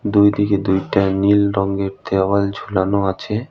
দুই দিকে দুইটা নীল রঙের দেওয়াল ঝুলানো আছে।